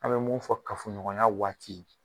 A bɛ mun fɔ kafoɲɔgɔnya waati